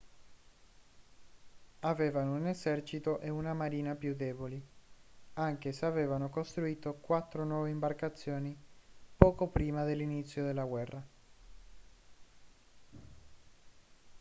avevano un esercito e una marina più deboli anche se avevano costruito quattro nuove imbarcazioni poco prima dell'inizio della guerra